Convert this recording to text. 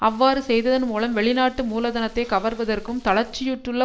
அவ்வாறு செய்ததன் மூலம் வெளிநாட்டு மூலதனத்தை கவர்வதற்கும் தளர்ச்சியுற்றுள்ள